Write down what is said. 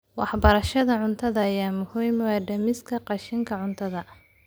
Waxbarashada cunnada ayaa muhiim u ah dhimista qashinka cuntada.